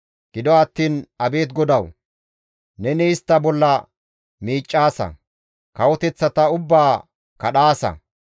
Gido attiin abeet GODAWU! Neni istta bolla miiccaasa; kawoteththata ubbaa kadhaasa.